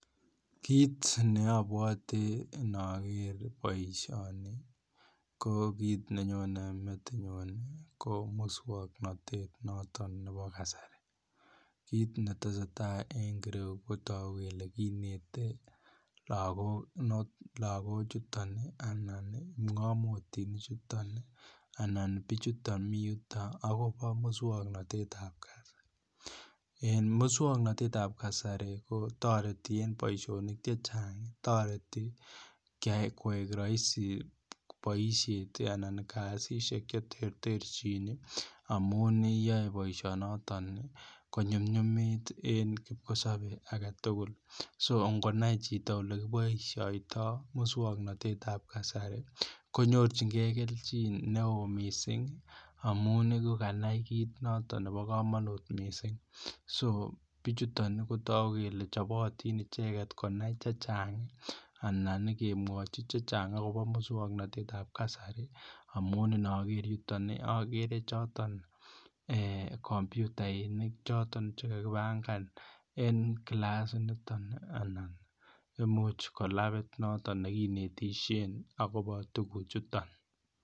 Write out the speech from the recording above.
Kit ne abwati ndoger boisioni ko kit ne nyone metinyu ko moswoknatet noton nebo kasari kit ne tesetai en kasari ko kinet lagochu kipngomotinichuton anan bichuto mi yuton agobo moswoknatet ab kasari en moswoknatetab Kasari kotoreti en boisionik Che Chang toreti koik rahisi boisiet Anan kasisyek Che terterchin amun yoe boisionoto konyumnyumit en kipkosobe age tugul so noe chito Ole kiboisioto moswoknatet ab kasari nyorchigei kelchin neo kot mising amun koganai kit noton nebo kamanut mising so bichuton ko togu kele chobotin icheget konai chechang anan kemwochi chechang akobo mo ab kasari amun Inoger yuton agere choton komputainik choton Che kakipangan en kilasinito anan Imuch ko labit noton nekinetisien agobo tuguchuton